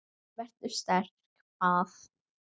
Vertu sterk- bað